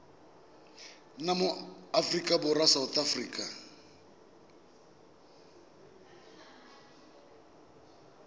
nna mo aforika borwa sa